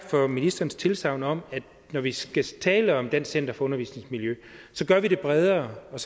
for ministerens tilsagn om at når vi skal tale om dansk center for undervisningsmiljø gør vi det bredere og